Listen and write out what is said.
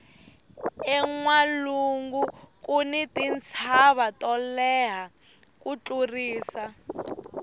enwalungu kuni tintshava to leha ku tlurisa